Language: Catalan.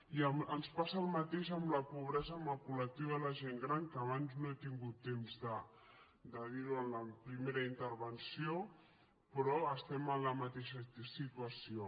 i ens passa el mateix amb la pobresa en el col·lectiu de la gent gran que abans no he tingut temps de dirho en la primera intervenció però estem en la mateixa situació